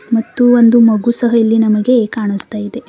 ಮತ್ತು ಒಂದು ಮಗು ಸಹ ಇಲ್ಲಿ ನಮಗೆ ಕಾಣುಸ್ತಾ ಇದೆ.